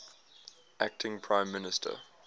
acting prime minister